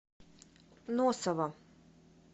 носова